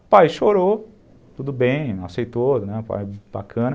O pai chorou, tudo bem, aceitou, bacana.